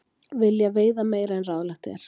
Vilja veiða meira en ráðlagt er